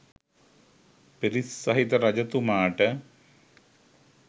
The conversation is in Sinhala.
පිරිස් සහිත රජතුමාට